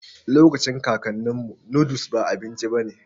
Lokacin kakaninmu, noodles ba abinci bane